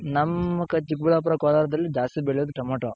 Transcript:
ನಮ್ ಚಿಕ್ ಬಳ್ಳಾಪುರ, ಕೋಲಾರದಲ್ಲಿ ಜಾಸ್ತಿ ಬೆಳೆಯೋದ್ ಟಮೊಟೊ.